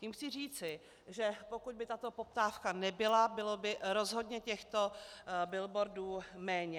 Tím chci říci, že pokud by tato poptávka nebyla, bylo by rozhodně těchto billboardů méně.